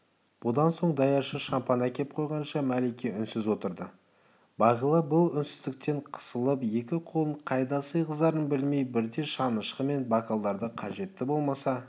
бұдан соң даяшы шампан әкеп қойғанша мәлике үнсіз отырды бағила бұл үнсіздіктен қысылып екі қолын қайда сыйғызарын білмей бірде шанышқы мен бокалдарды қажеті болмаса